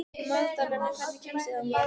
Magdalena, hvernig kemst ég þangað?